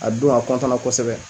A don a na kosɛbɛ.